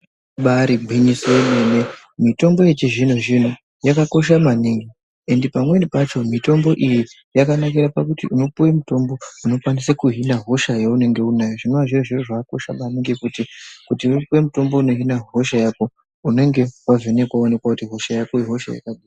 Ibaari gwinyiso yemene mitombo yechizvino zvino yakakosha maningi ende pamweni pacho mitombo iyi yakanikira pakuti unopuwe mitombo inokwanisa kuhina hosha yaunenge unayo zvinoa zviri zviro zvakakosha maningi kuti upuwe mutombo inohina hosha yako unenge wavhenekwa woonekwa kuti hosha yako ihosha yakadii .